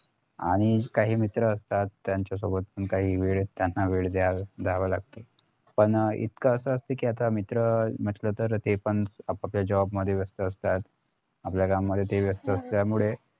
आणि काही मित्र असतात त्यांच्या सोबत पण त्यांना वेळ द्यावा लागतो पण इतकं अस असत कि आता मित्र म्हंटल तर ते पण आपआपल्या job मध्ये व्यस्त असतात आपल्या कामात ते व्यस्त असतात त्यामुळे